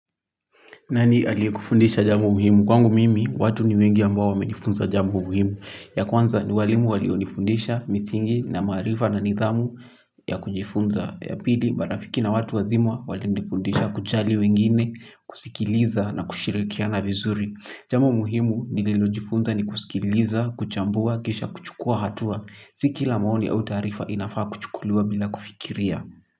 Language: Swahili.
Nani aliyekufundisha jambo muhimu? Kwangu mimi, watu ni wengi ambao wamenifunza jambo muhimu. Ya kwanza ni walimu walionifundisha, misingi, na maarifa na nidhamu ya kujifunza. Ya pili, marafiki na watu wazima walinifundisha kujali wengine, kusikiliza na kushirikiana vizuri. Jambo muhimu nililojifunza ni kusikiliza, kuchambua, kisha, kuchukua hatua. Si kila maoni au taarifa inafaa kuchukuliwa bila kufikiria.